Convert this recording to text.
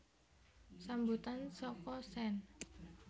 Sambutan saka Sen